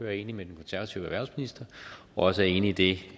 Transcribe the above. er enig med den konservative erhvervsminister og også er enig i det